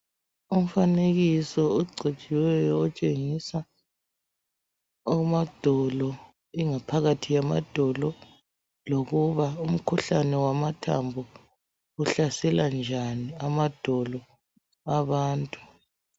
Umfanekiso ogcotshiweyo otshengisa amadolo, ingaphakathi yamadolo lokuba umkhuhlane wamathambo uhlasela njani amadolo abantu.